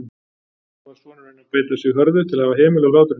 Nú varð sonurinn að beita sig hörðu til að hafa hemil á hlátrinum.